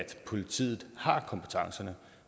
politiet har kompetencen